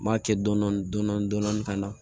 N b'a kɛ dɔndɔni dɔndɔni dɔndɔni ka na